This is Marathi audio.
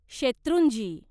शेत्रुंजी